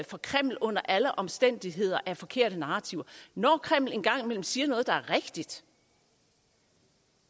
fra kreml under alle omstændigheder er forkerte narrativer når kreml engang imellem siger noget der er rigtigt